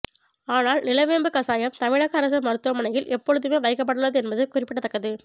ஆனால் நிலவேம்பு கசாயம் தமிழக அரசு மருத்துவமனையில் எப்பொழுதுமே வைக்கப்பட்டுள்ளது என்பது குறிப்பிடத்தக்கது